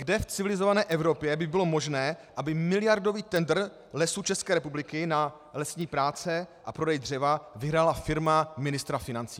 Kde v civilizované Evropě by bylo možné, aby miliardový tendr Lesů České republiky na lesní práce a prodej dřeva vyhrála firma ministra financí?